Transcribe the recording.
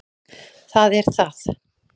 Það er það